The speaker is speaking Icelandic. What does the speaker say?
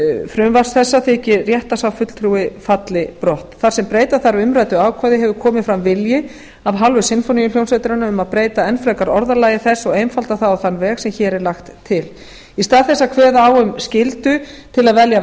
frumvarps þessa þykir rétt að sá fulltrúi falli brott þar sem breyta þarf umræddu ákvæði hefur komið fram vilji af hálfu sinfóníuhljómsveitarinnar um að breyta enn frekar orðalagi þess og einfalda það á þann veg sem hér er lagt til í stað þess að kveða á um skyldu til að velja